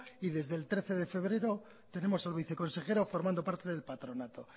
y desde el trece de febrero tenemos al viceconsejero formando parte del patronato